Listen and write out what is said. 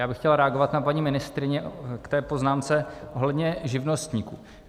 Já bych chtěl reagovat na paní ministryni k té poznámce ohledně živnostníků.